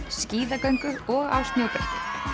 skíðagöngu og á snjóbretti